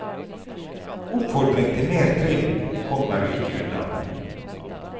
Oppfordring til mer trim kommer du ikke unna.